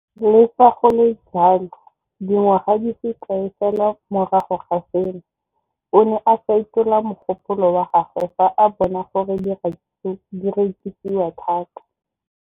Le fa go le jalo, dingwaga di se kae fela morago ga seno, o ne a fetola mogopolo wa gagwe fa a bona gore diratsuru di rekisiwa thata.